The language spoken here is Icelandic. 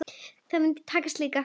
Það mun takast líka.